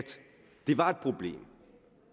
det var et problem